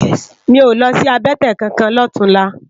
Mi ó lòsi àbètè kánkán lòtúnlá